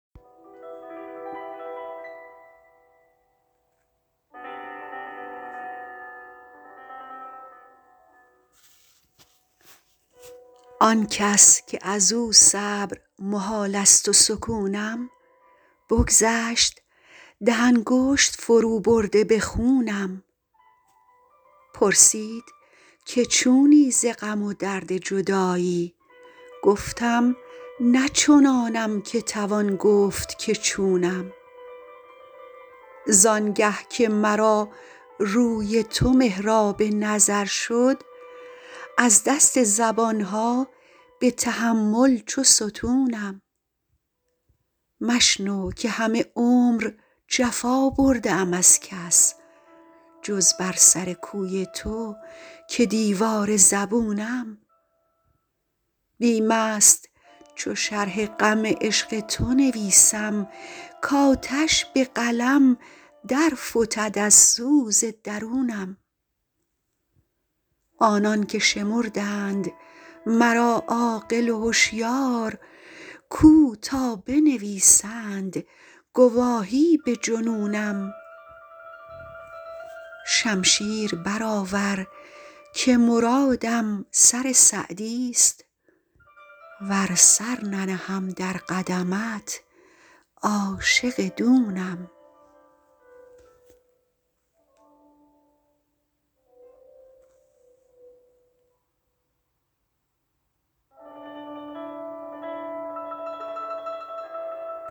آن کس که از او صبر محال است و سکونم بگذشت ده انگشت فروبرده به خونم پرسید که چونی ز غم و درد جدایی گفتم نه چنانم که توان گفت که چونم زان گه که مرا روی تو محراب نظر شد از دست زبان ها به تحمل چو ستونم مشنو که همه عمر جفا برده ام از کس جز بر سر کوی تو که دیوار زبونم بیم است چو شرح غم عشق تو نویسم کآتش به قلم در فتد از سوز درونم آنان که شمردند مرا عاقل و هشیار کو تا بنویسند گواهی به جنونم شمشیر برآور که مرادم سر سعدیست ور سر ننهم در قدمت عاشق دونم